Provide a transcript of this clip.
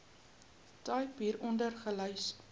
tipe hieronder gelys